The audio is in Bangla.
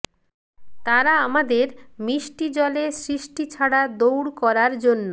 তারা আমাদের মিষ্টি জলে সৃষ্টি ছাড়া দৌড় করার জন্য